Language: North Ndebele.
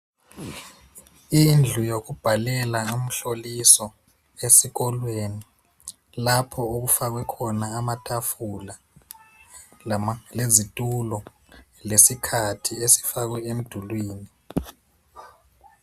Indlu yokubhalela umhloliso esikolweni lapho okufakwe khona amatafula lezitulo lesikhathi esifakwe emdulwini.